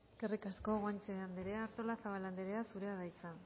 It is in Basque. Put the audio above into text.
eskerrik asko guanche anderea artolazabal anderea zurea da hitza